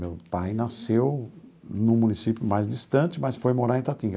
Meu pai nasceu num município mais distante, mas foi morar em Itatinga.